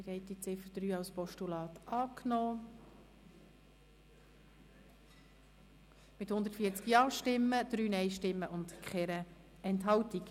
Sie haben die Ziffer 3 als Postulat angenommen mit 140 Ja-, 3 Nein-Stimmen und 0 Enthaltungen.